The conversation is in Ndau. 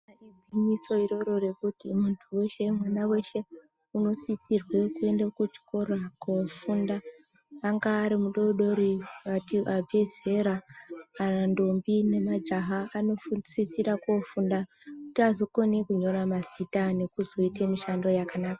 Igwinyiso iroro rekuti muntu weshe, mwana weshe unosisirwa kuenda kuchikora kofunda. Anga ari mudodori kana abve zera kana ntombi nemajaha anosisira kofunda kuti azokona kunyora mazita nekuzoita mishando yakasiyana.